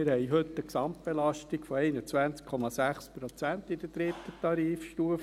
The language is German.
Wir haben heute eine Gesamtbelastung von 21,6 Prozent in der dritten Tarifstufe.